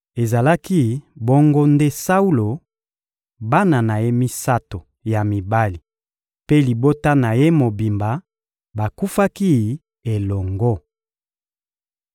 Ezalaki bongo nde Saulo, bana na ye misato ya mibali mpe libota na ye mobimba bakufaki elongo.